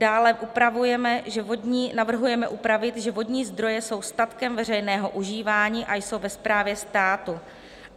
Dále navrhujeme upravit, že vodní zdroje jsou statkem veřejného užívání a jsou ve správě státu.